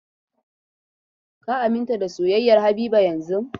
Ka aminta da soyayyar Habiba yanzun!